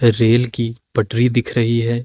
Rail कि पटरी दिख रही है।